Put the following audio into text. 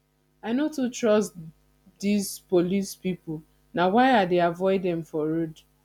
i no too trust dese police pipo na why i dey avoid dem for road